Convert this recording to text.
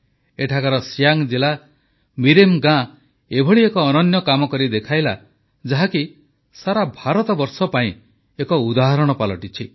ଏଠାକାର ସିୟାଙ୍ଗ ଜିଲ୍ଲା ମିରେମ୍ ଗାଁ ଏଭଳି ଏକ ଅନନ୍ୟ କାମ କରି ଦେଖାଇଲା ଯାହାକି ସାରା ଭାରତବର୍ଷ ପାଇଁ ଏକ ଉଦାହରଣ ପାଲଟିଛି